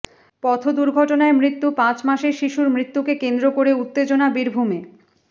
পথ দুর্ঘটনায় মৃত্যু পাঁচ মাসের শিশুর মৃত্যুকে কেন্দ্র করে উত্তেজনা বীরভূমে